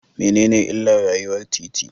Mene ne illar rayuwar titi?